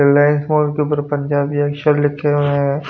Reliance mall के ऊपर पंजाबी अक्षर लिखे हुए हैं।